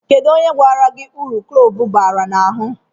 Kedụ onye gwara gị uru klove bara n'ahụ?